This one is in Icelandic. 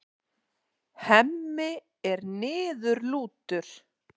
Hemmi er niðurlútur.